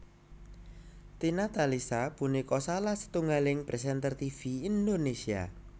Tina Talisa punika salah setunggaling présènter tivi Indonésia